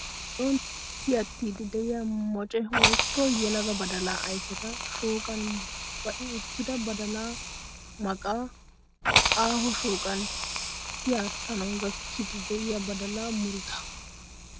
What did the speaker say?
Biron tiyattiiddi de'iyaa moce woyikko yelaga badalaa ayifeta shooqan ba'i uttida badalaa maqaa. Aaho shooqan tiyattanawu gakkiiddi de'iyaa badalaa murutaa.